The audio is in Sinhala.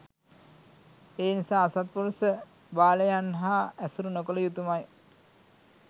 එනිසා අසත්පුරුෂ බාලයන් හා ඇසුරු නොකළ යුතුමයි